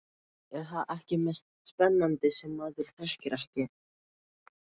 Er það ekki mest spennandi sem maður þekkir ekki?